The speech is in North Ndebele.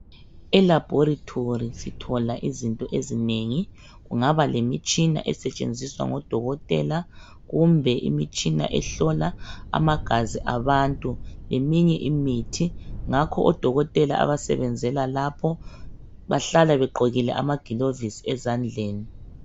Elaboratory sithola izinto ezinengi kungaba lemitshina esetshenziswa ngodokotela kumbe imitshina ehlola amagazi abantu leminye imithi ngakho odokotela abasebenzela lapho bahlala begqokile amagilovisi esandleni.